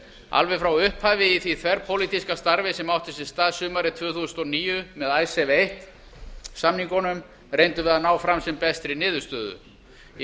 alveg frá upphafi í því þverpólitíska starfi sem átti sér stað sumarið tvö þúsund og níu með icesave eins samningnum reyndum við að ná fram sem bestri niðurstöðu í